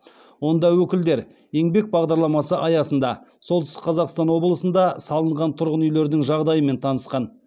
онда өкілдер еңбек бағдарламасы аясында солтүстік қазақстан облысында салынған тұрғын үйлердің жағдайымен танысқан